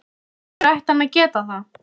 Af hverju ætti hann að geta það?